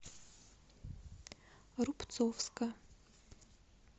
рубцовска